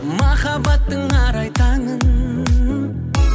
махаббаттың арай таңын